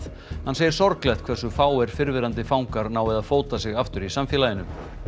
hann segir sorglegt hversu fáir fyrrverandi fangar nái að fóta sig aftur í samfélaginu